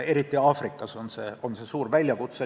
Eriti Aafrikas on see suur väljakutse.